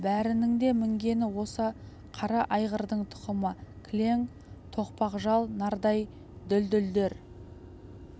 бәрінің де мінгені осы қара айғырдың тұқымы кілең тоқпақ жал нардай дүлдүлдер